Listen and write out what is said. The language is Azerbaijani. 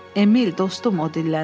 Emil, dostum, o dilləndi.